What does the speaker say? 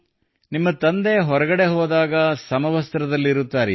ನಿಮ್ಮ ತಂದೆ ಹೊರಗಡೆ ಹೋದಾಗ ಸಮವಸ್ತ್ರದಲ್ಲಿರುತ್ತಾರೆಯೇ